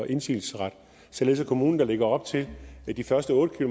indsigelsesret således at kommuner der ligger op til de første otte